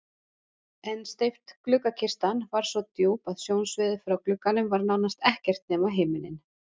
En steypt gluggakistan var svo djúp að sjónsviðið frá glugganum var nánast ekkert nema himinninn.